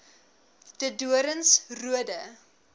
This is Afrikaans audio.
de doorns roode